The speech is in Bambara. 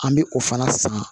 An bɛ o fana san